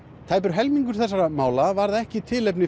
tæpur helmingur þessara mála varð ekki tilefni